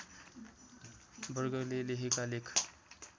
वर्गले लेखेका लेख